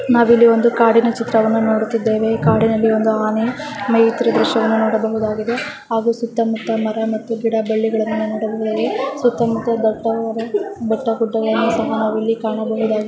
ನಾವಿಲ್ಲಿ ಒಂದು ಕಾಡಿನ ಚಿತ್ರವನ್ನು ನೋಡುತ್ತಿದ್ದೇವೆ ಹಾಗು ಕಾಡಿನಲ್ಲಿ ಒಂದು ಆನೆ ಮೇ ಯುತ್ತಿರುವುದನ್ನು ದೃಶ್ಯವನ್ನು ನೋಡಬಹುದಾಗಿದೆ ಸುತ್ತ ಮುತ್ತ ಮರ ಮತ್ತು ಗಿಡ ಬಳ್ಳಿಗಳನ್ನು ನೋಡಬಹುದಾಗಿದೆ ಸುತ್ತ ಮುತ್ತ ದಟ್ಟವಾದ ಬೆಟ್ಟ ಗುಡ್ಡಗಳನ್ನು ಸಹ ನಾವಿಲ್ಲಿ ಕಾಣಬಹು -